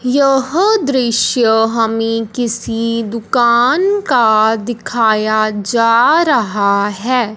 यह दृश्य हमें किसी दुकान का दिखाया जा रहा है।